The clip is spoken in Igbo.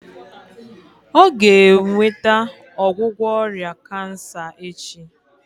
Ọ ga-enweta ọgwụgwọ ọrịa kansa echi